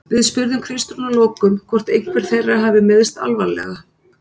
Við spurðum Kristrúnu að lokum hvort einhver þeirra hafi meiðst alvarlega?